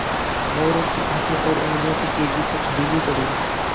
मोरू की आँखें और उंगलियों की तेज़ी कुछ ढीली पड़ी